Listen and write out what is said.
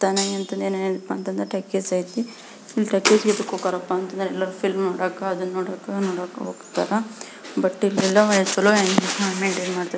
Talkies ಐತಿ talkies ಯಾಕ್ ಹೋಕರಪ್ಪ ಅಂತಂದ್ರ ಎಲ್ಲ ಫಿಲಂ ನೋಡಾಕ ಅದನ್ನ ನೋಡಾಕ ಎಲ್ಲ ಹೋಗ್ತಾರಾ ಬಟ್ ಇಲ್ಲೆಲ್ಲಾ ಚ್ಹೋಲೋ .